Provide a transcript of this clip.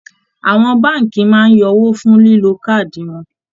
Àwọn báànkì máa ń yọ owó fun lílo káàdì wọn